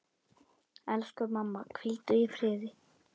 Elsku mamma, hvíldu í friði.